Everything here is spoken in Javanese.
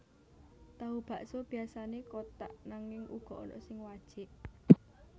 Tahu bakso biasané kotak nanging uga ana sing wajik